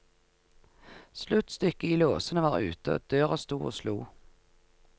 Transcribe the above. Sluttstykket i låsen var ute, døra sto og slo.